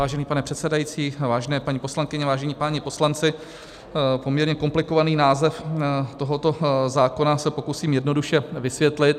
Vážený pane předsedající, vážené paní poslankyně, vážení páni poslanci, poměrně komplikovaný název tohoto zákona se pokusím jednoduše vysvětlit.